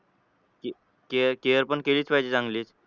care पण केलीच पाहिजे चांगली.